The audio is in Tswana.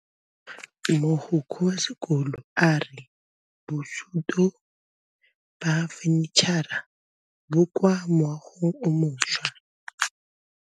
Mogokgo wa sekolo a re bosutô ba fanitšhara bo kwa moagong o mošwa.